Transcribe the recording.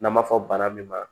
N'an b'a fɔ bana min ma